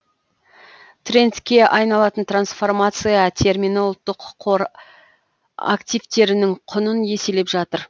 трендке айналатын трансформация термині ұлттық қор активтерінің құнын еселеп жатыр